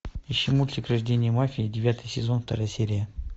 ищи мультик рождение мафии девятый сезон вторая серия